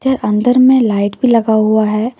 ये अंदर मे लाइट भी लगा हुआ है।